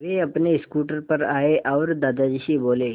वे अपने स्कूटर पर आए और दादाजी से बोले